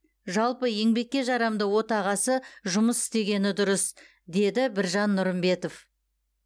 жалпы еңбекке жарамды отағасы жұмыс істегені дұрыс деді біржан нұрымбетов